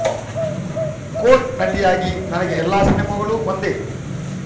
coat ನಟಿಯಾಗಿ ನನಗೆ ಎಲ್ಲಾ ಸಿನಿಮಾಗಳೂ ಒಂದೇ